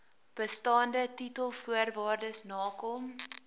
bestaande titelvoorwaardes nakom